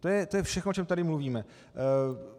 To je všechno, o čem tady mluvíme.